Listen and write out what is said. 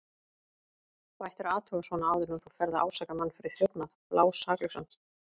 Þú ættir að athuga svona áður en þú ferð að ásaka mann fyrir þjófnað, blásaklausan.